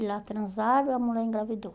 E lá transaram e a mulher engravidou.